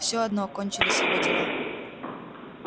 всё одно кончились его дела